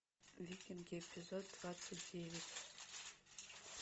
викинги эпизод двадцать девять